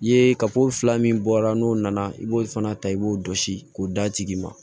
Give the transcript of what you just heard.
I ye fila min bɔra n'o nana i b'o fana ta i b'o jɔsi k'o d'a tigi ma